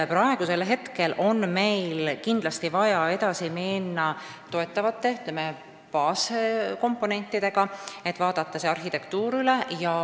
Praegu on meil kindlasti vaja edasi minna toetavate baaskomponentidega, vaadata üle see arhitektuur.